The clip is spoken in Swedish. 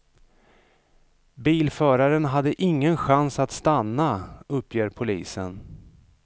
Bilföraren hade ingen chans att stanna, uppger polisen.